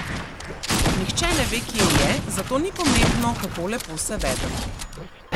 Nihče ne ve, kje je, zato ni pomembno, kako lepo se vedem.